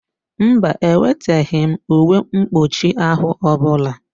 Mba, eweteghị m uwe mkpụchi ahụ ọbụla.